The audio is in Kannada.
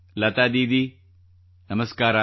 ಲತಾ ದೀದಿ ನಮಸ್ಕಾರ